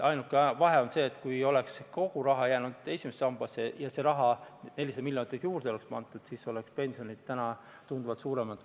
Ainuke vahe on see, et kui oleks kogu raha jäänud esimesse sambasse ja see 400 miljonit oleks sinna juurde pandud, siis oleks pensionid täna tunduvalt suuremad.